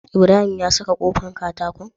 Ibrahim ya saka kofar katakon?